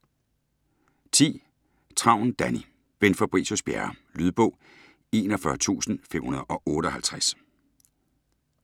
Travn, Danni: Bent Fabricius-Bjerre Lydbog 41558